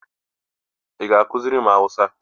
Ị ga ekuziri m hausa?